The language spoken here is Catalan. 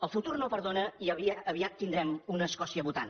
el futur no perdona i aviat tindrem una escòcia votant